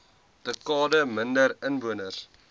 dekade minder inwoners